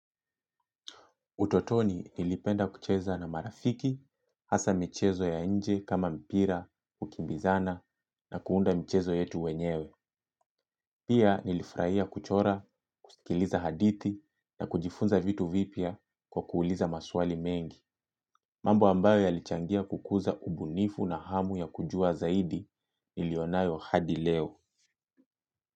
Utotoni nilipenda kucheza na marafiki, hasa michezo ya nje kama mpira, kukimbizana na kuunda michezo yetu wenyewe. Pia nilifurahia kuchora, kusikiliza hadithi na kujifunza vitu vipya kwa kuuliza maswali mengi. Mambo ambayo yalichangia kukuza ubunifu na hamu ya kujua zaidi niliyo nayo hadi leo.